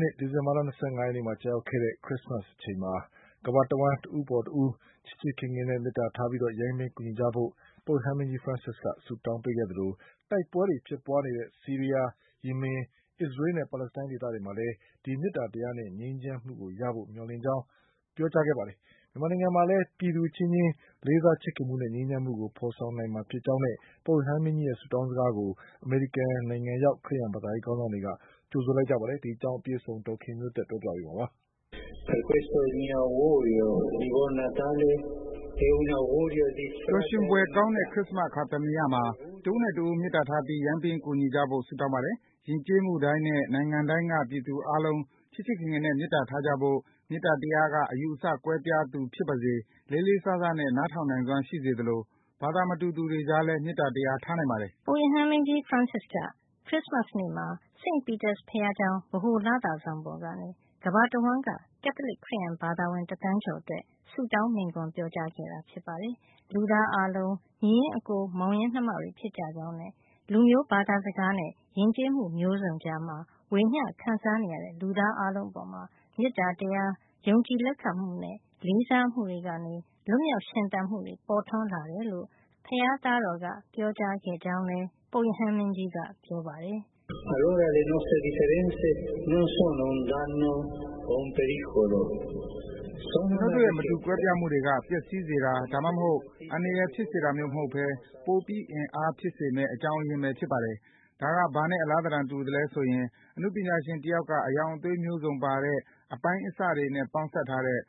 နှစ် ၂၀၁၈ ဒီဇင်ဘာလ ၂၅ ရက်နေ့မှာ ကျရောက်တဲ့ ခရစ်စမတ်အချိန်မှာ ကမ္ဘာတဝှမ်း တဦးအပေါ်တဦး ချစ်ချစ်ခင်ခင်နဲ့ မေတ္တာထားပြီး ယိုင်းပင်းကူညီကြဖို့ ပုပ်ရဟန်းမင်းကြီး ဖရန်စစ်က ဆုတောင်းပေးခဲ့သလို တိုက်ပွဲတွေ ဖြစ်ပွါးနေတဲ့ ဆီးရီးယား၊ ယီမင် အစ္စရေးနဲ့ ပါလက်စတိုင်း ဒေသတွေမှာလည်း ဒီမေတ္တာတရားနဲ့ ငြိမ်းချမ်းမှုရဖို့ မျှော်လင့်ကြောင်း ပြောကြားခဲ့ပါတယ်။ မြန်မာနိုင်ငံမှာလည်း ပြည်သူအချင်းချင်း လေးစားချစ်ခင်မှုနဲ့ ငြိမ်းချမ်းမှုကို ဖေါ်ဆောင်နိုင်မှာ ဖြစ်ကြောင်းနဲ့ ပုပ်ရဟန်းမင်းကြီးရဲ့ ဆုတောင်းစကားကို အမေရိကန်နိုင်ငံရောက် ခရစ်ယန်ဘာသာရေး ခေါင်းဆောင်တွေက ကြိုဆိုလိုက်ပါတယ်။ အပြည့်အစုံကို ဒေါ်ခင်မျိုးသက်က ပြောပြပေးမှာပါ။ “ပျော်ရွှင်ဖွယ်ကောင်းတဲ့ ခရစ်စမတ်အခါသမယမှာ တဦးနဲ့တဦး မေတ္တာထားပြီး ယိုင်းပင်းကူညီကြဖို့ ဆုတောင်းပါတယ်။ ယဉ်ကျေးမှုတိုင်းနဲ့ နိုင်ငံတိုင်းက ပြည်သူအားလုံး ချစ်ချစ်ခင်ခင်နဲ့ မေတ္တာထားကြဖို့၊ မေတ္တာတရားက အယူအဆကွဲပြားသူဖြစ်ပါစေ လေးလေးစားစားနဲ့ နားထောင်နိုင်စွမ်း ရှိစေသလို ဘာသာမတူသူတွေကြားလည်း မေတ္တာတရား ထားနိုင်ပါတယ်။” ပုပ်ရဟန်းမင်းကြီး ဖရန်စစ်က ခရစ်စမတ်နေ့မှာ St Peter’s ဘုရားကျောင်း ဗဟိုလသာဆောင် ပေါ်ကနေ ကမ္ဘာတဝှမ်းက ကက်သလစ်ခရစ်ယန်ဘာသာဝင် တသန်းကျော်အတွက် ဆုတောင်း မိန့်ခွန်းပြောကြားခဲ့တာ ဖြစ်ပါတယ်။ လူသားအားလုံးဟာ ညီရင်းအကို မောင်ရင်းနှမတွေ ဖြစ်ကြကြောင်းနဲ့ လူမျိုး၊ ဘာသာစကားနဲ့ ယဉ်ကျေးမှုမျိုးစုံကြားမှာ ဝေမျှခံစားနေရတဲ့ လူသား အားလုံးအပေါ် မေတ္တာတရား၊ ယုံကြည်လက်ခံမှုနဲ့ လေးစားမှုတွေကနေ လွတ်မြောက်ရှင်သန်မှု ပေါ်ထွန်းလာတယ်လို့ ဘုရားသားတော်က ပြောခဲ့ကြောင်းလည်း ပုပ်ရဟန်းမင်းကြီးက ပြောပါတယ်။ “ကျနု်ပ်တို့ရဲ့ မတူကွဲပြားမှုတွေက ပျက်စီးစေတာ ဒါမှမဟုတ် အန္တရာယ်ဖြစ်စေတာမျိုး မဟုတ်ပဲ ပိုပြီးအင်အားဖြစ်စေမယ့် အကြောင်းရင်းပဲ ဖြစ်ပါတယ်။ ဒါက ဘာနဲ့ အလားသဏ္ဍာန် တူသလဲဆိုရင် အနုပညာရှင်တယောက်က အရောင်အသွေးမျိုးစုံ ပါတဲ့ အပိုင်းအစတွေနဲ့ ပေါင်းစပ်ထားတဲ့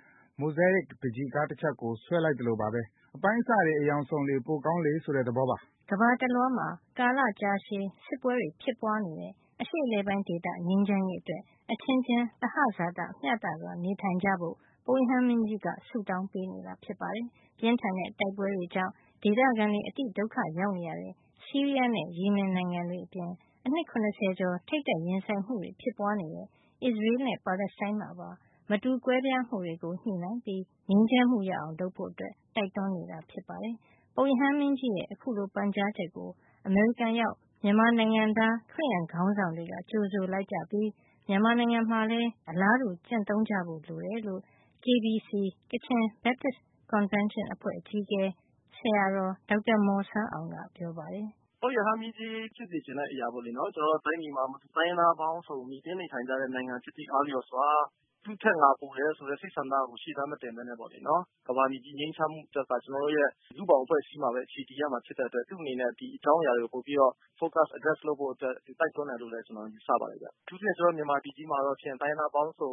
Mosaic ပန်းချီကား တချပ်ကို ဆွဲလိုက်သလိုပါပဲ။ အပိုင်းအစတွေ အရောင်စုံလေ ပိုကောင်းလေဆိုတဲ့ သဘောပါ။” ကမ္ဘာတလွှားမှာ ကာလ ကြာရှည်ဖြစ်စစ်ပွဲတွေ ဖြစ်ပွါးနေတဲ့ အရှေ့အလယ်ပိုင်းဒေသငြိမ်းချမ်းရေး အတွက် အချင်းချင်း သဟဇာတမျှစွာ နေထိုင်ကြဖို့ ပုပ်ရဟန်းမင်းကြီးက ဆုတောင်းပေးနေတာ ဖြစ်ပါတယ်။ ပြင်းထန်တဲ့ တိုက်ပွဲတွေကြောင့် ဒေသခံတွေ အတိဒုက္ခရောက်နေရတဲ့ ဆီးရီးယားနဲ့ ယီမင်နိုင်ငံတွေအပြင် အနှစ် ၇၀ ကျော် ထိပ်တိုက်ရင်ဆိုင်မှုတွေ ဖြစ်ပွါးနေတဲ့ အစ္စရေးနဲ့ ပါလက်စတိုင်းမှာပါ မတူကွဲပြားမှုတွေကို ညှိနှိုင်းပြီး ငြိမ်းချမ်းမှုရအောင် လုပ်ဖို့ တိုက်တွန်းနေတာ ဖြစ်ပါတယ်။ ပုပ်ရဟန်းမင်းကြီးရဲ့ အခုလို ပန်ကြားချက်ကို အမေရိကန်ရောက် မြန်မာနိုင်ငံသား ခရစ်ယန်ခေါင်းဆောင်တွေက ကြိုဆိုလိုက်ကြပြီး မြန်မာနိုင်ငံမှာလည်း အလားတူ ကျင့်သုံးကြဖို့ လိုတယ်လို့ KBC ကချင် Baptist convention အဖွဲ့ အကြီးအကဲ Rev Dr Jun Maw San Awng ကပြောပါတယ်။ "ပုပ်ရဟန်းမင်းကြီးဖြစ်စေချင်တဲ့အရာပေါ့လေ ၊ ကျနော်တို့တိုင်းပြည်မှာ တိုင်းရင်းသားပေါင်းစုံ မှီတင်းနေထိုင်ကြတဲ့နိုင်ငံဖြစ်သည့်အားလျော်စွာ သူ့ထက် ငါပိုတယ်ဆိုတဲ့ စိတ်ဆန္ဒကို ရှေ့တန်းမတင်ပဲနဲ့ မြန်မာပြည်ကြီးငြိမ်းချမ်းတဲ့အခါ ကျတော်တို့ရဲ့ လူ့ဘောင်အဖွဲ့အစည်းမှာပဲ အခြေတည်ရမှာဖြစ်တဲ့အတွက် သူ့အနေနဲ့ ဒီအကြောင်းအရာတွေကို ပိုပြီးတော့ Focus၊ address လုပ်ဖို့အတွက် သူတိုက်တွန်းတယ်လို့ ကျနော်ယူဆပါတယ်။ အထူးသဖြင့် ကျနော်တို့ မြန်မာပြည်ကြီးမှာတော့ တိုင်းရင်းသားပေါင်းစုံ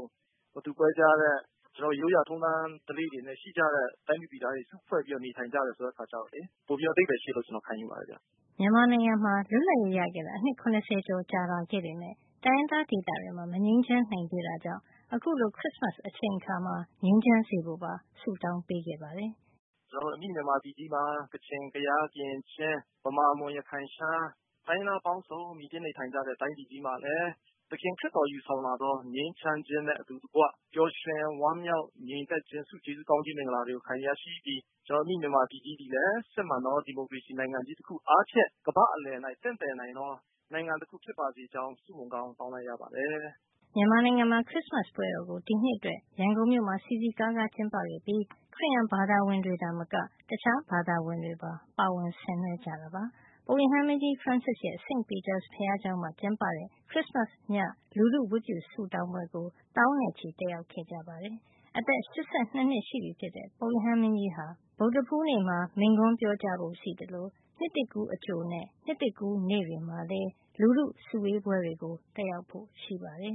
မတူကွဲပြားတဲ့ ရိုးရာထုံးတန်းဓလေ့တွေလည်းရှိကြတဲ့ တိုင်းသူပြည်သားတွေ စုဖွဲ့ပြီးတော့ နေထိုင်ကြတယ်ဆိုတဲ့အခါကျတော့ ပိုပြီးတော့ အဓိပ္ပါယ်ရှိတယ်လို့ ခံယူပါတယ်။" မြန်မာနိုင်ငံမှာ လွတ်လပ်ရေး ရခဲ့တာ အနှစ် ၇၀ ကျော်လာပေမယ့် တိုင်းရင်းသား ဒေသတွေမှာ မငြိမ်းချမ်းနိုင်သေးတာကြောင့် အခုလို ခရစ်စမတ်အချိန်အခါမှာ ငြိမ်းချမ်းစေဖို့ပါ ဆုတောင်းပေးခဲ့ပါတယ်။ "ကျနေ်ာတို့ အမိမြန်မာပြည်ကြီးမှာ ကချင်၊ ကယား၊ ကရင်၊ ချင်း၊ မြန်မာ၊ မွန်၊ ရခိုင်၊ ရှမ်း တိုင်းရင်းသားပေါင်းစုံ မှီတင်းနေထိုင်ကြတဲ့ တိုင်းပြည်မှာ သခင်ခရစ်တော်ယူဆောင်လာသော ငြိမ်းချမ်းခြင်းနဲ့ အတူတကွ ပျော်ရွှင် ဝမ်းမြောက် ငြိမ်သက်ချင်း ဆုကျေးဇူးကောင်းကြီးမင်္ဂလာတွေကို ခံယူရရှိပြီး ကျနော်တို့ အမိမြန်မာပြည်ကြီးသည်လည်း စစ်မှန်သော ဒီမိုကရေစီနိုင်ငံအားဖြင့် ကမ္ဘာ့အလည်တွင် တင့်တယ်နိုင်သော နိုင်ငံတခု ဖြစ်ပါစေကြောင်း ဆုမွန်ကောင်းတောင်းလိုက်ပါတယ်။" မြန်မာနိုင်ငံမှာ ခရစ်စမတ်ပွဲတော်ကို ဒီနှစ်အတွက် ရန်ကုန်မြို့မှာ စည်စည်ကားကား ကျင်းပခဲ့ပြီး ခရစ်ယန်ဘာသာဝင်တွေသာမက တခြားဘာသာဝင်တွေပါ ပါဝင်ဆင်နွှဲကြတာပါ။ ပုပ်ရဟန်းမင်းကြီး ဖရန်စစ်ရဲ့ စိန့်ပီတာဘုရားကျောင်းမှာ ကျင်းပတဲ့ ခရစ်စမတ်ည လူထုဝတ်ပြုဆုတောင်းပွဲကို သောင်းနဲ့ချီ တက်ရောက် ခဲ့ကြပါတယ်။ အသက် ၈၂ နှစ် ရှိပြီဖြစ်တဲ့ ပုပ်ရဟန်းမင်းကြီးဟာ ဗုဒ္ဓဟူးနေ့မှာ မိန့်ခွန်းပြောကြားဖို့ရှိသလို နှစ်သစ်ကူးအကြိုနဲ့ နှစ်သစ်ကူးနေ့တွေမှာလည်း လူထုစုဝေးပွဲတွေ တက်ရောက်ဖို့ ရှိပါတယ်